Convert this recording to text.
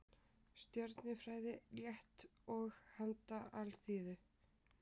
Stjörnufræði, létt og handa alþýðu.